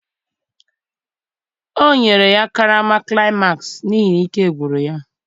o nyere ya karama climax n'ihi na ike gwụrụ ya